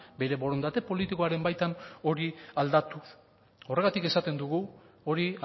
bere borondate politikoaren baitan hori aldatu horregatik esaten dugu hori